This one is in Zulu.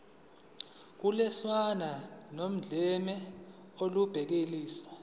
ukulwiswana nodlame olubhekiswe